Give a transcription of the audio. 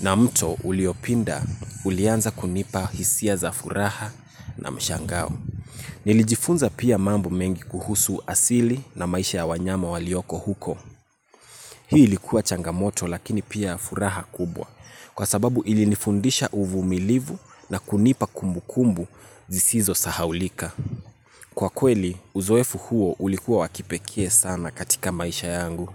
na mto uliopinda ulianza kunipa hisia za furaha na mshangao. Nilijifunza pia mambo mengi kuhusu asili na maisha ya wanyama walioko huko. Hii ilikuwa changamoto lakini pia furaha kubwa. Kwa sababu ilinifundisha uvumilivu na kunipa kumbukumbu zisizo sahaulika. Kwa kweli, uzoefu huo ulikuwa wa kipekee sana katika maisha yangu.